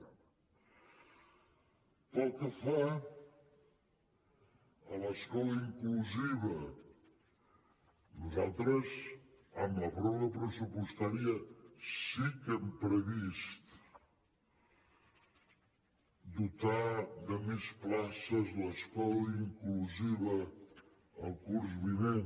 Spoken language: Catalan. pel que fa a l’escola inclusiva nosaltres amb la pròrroga pressupostària sí que hem previst dotar de més places l’escola inclusiva el curs vinent